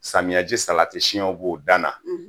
Samiyɛji salati siyɛnw b'o dan na, o fana